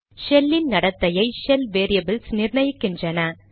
shell இன் நடத்தையை shell variables நிர்ணயிக்கின்றன